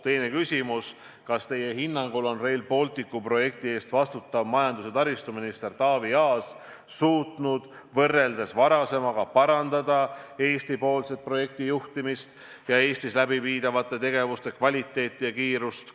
Teine küsimus: "Kas teie hinnangul on Rail Balticu projekti eest vastutav majandus- ja taristuminister Taavi Aas suutnud võrreldes varasemaga parandada Eesti-poolset projektijuhtimist ja Eestis läbiviidavate tegevuste kvaliteeti ja kiirust?